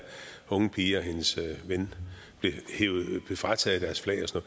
unge pige og hendes ven blev frataget deres flag og